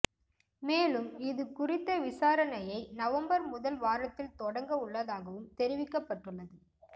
மேலும் இது குறித்த விசாரணையை நவம்பர் முதல் வாரத்தில் தொடங்க உள்ளதாகவும் தெரிவிக்கப்பட்டுள்ளது